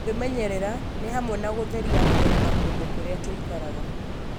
Kwĩmenyerera nĩ hamwe na gũtheria mwĩrĩ na kũndũ kũrĩa tũikaraga.